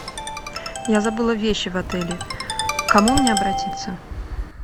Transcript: я забыла вещи в отеле к кому мне обратиться